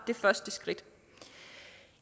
det første skridt